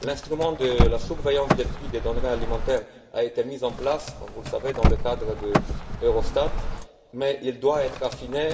L'instrument de surveillance des prix des denrées alimentaires a été mis en place, comme vous le savez, dans le cadre d'Eurostat, mais il doit être affiné.